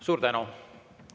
Suur tänu!